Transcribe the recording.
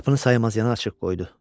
Qapını saymaz yana açıq qoydu.